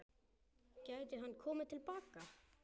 Gæti hann komið til baka?